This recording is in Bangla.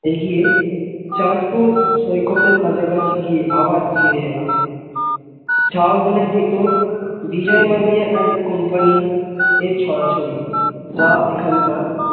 এগিয়ে চাঁদ পুর সৈকত এর কাছা কাছি গিয়ে আবার ফিরে এলাম ঝাউ বোনের ভিতর বিজয় মালিয়া and company এর ছরা ছড়ি, যা এখানকার